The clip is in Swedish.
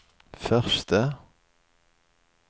förste